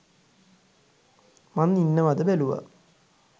මං ඉන්නවද බැලුවා